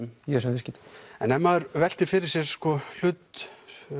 í þessum viðskiptum en ef maður veltir fyrir sér hlut